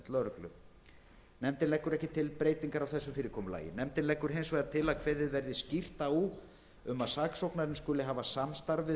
lögreglu nefndin leggur ekki til neina breytingu á því fyrirkomulagi nefndin leggur hins vegar til að kveðið verði skýrt á um að saksóknarinn skuli hafa samstarf við